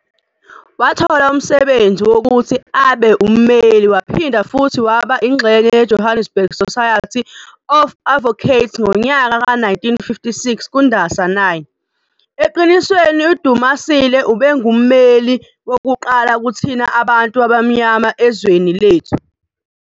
Wathola umsebenzi wokuthi abe uMmeli waphinda futhi waba ingxenye yeJohannesburg Society of Advocates ngonyaka ka-1956 kuNdasa 9, eqinisweni uDumasile ubengumeli wokuqala kuthina abantu abamnyama ezweni lethu.